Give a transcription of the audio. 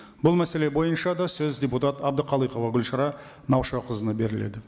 бұл мәселе бойынша да сөз депутат әбдіқалықова гүлшара наушақызына беріледі